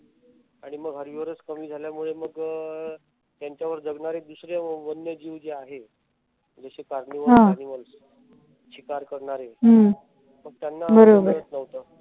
आणि मग कमी झाल्यामुळे मग त्यांच्यावर जगणारे दुसरे वन्य जीव जे आहेत. जसे animals शिकार करणारे मग त्यांना काही मिळत नव्हत.